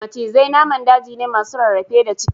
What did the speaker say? Macizai naman daji ne masu rarrafe da ciki